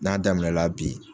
N'a daminɛla bi.